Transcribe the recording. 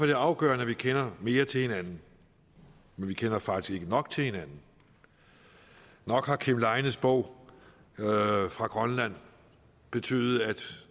det afgørende at vi kender mere til hinanden vi kender faktisk ikke nok til hinanden nok har kim leines bog fra grønland betydet at